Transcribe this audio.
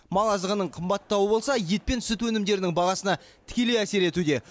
мал азығының қымбаттауы болса ет пен сүн өнімдерінің бағасына тікелей әсер етуде